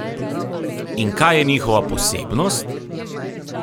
In kaj je njihova posebnost?